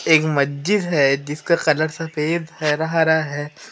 एक मस्जिद है जिसका कलर सफेद हरा हरा है।